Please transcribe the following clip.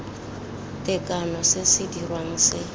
tekano se se dirwang se